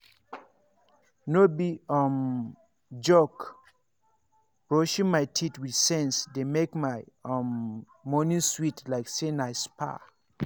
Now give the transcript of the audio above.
no be um joke brushing my teeth with sense dey make my um morning sweet like say na spa.